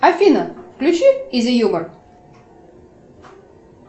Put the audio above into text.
афина включи изи юмор